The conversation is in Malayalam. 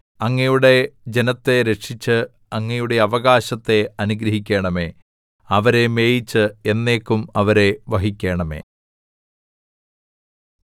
അങ്ങയുടെ ജനത്തെ രക്ഷിച്ചു അങ്ങയുടെ അവകാശത്തെ അനുഗ്രഹിക്കണമേ അവരെ മേയിച്ച് എന്നേക്കും അവരെ വഹിക്കണമേ